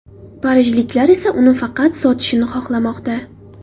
Parijliklar esa uni faqat sotishni xohlamoqda.